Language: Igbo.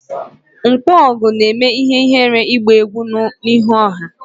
Nkwogu na-eme ihere igba egwu n'ihu ọha